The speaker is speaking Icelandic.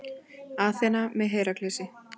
Aþena með Heraklesi.